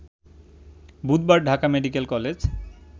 বুধবার Dhaka medical college